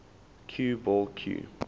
cue ball cue